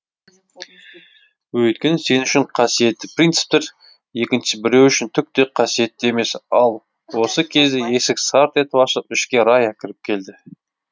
өйткені сен үшін қасиетті принциптер екінші біреу үшін түк те қасиетті емес ал осы кезде есік сарт етіп ашылып ішке рая кіріп келді